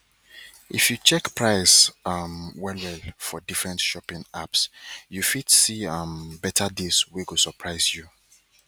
if you check price um well well for different shopping apps you fit see um better deals wey go surprise you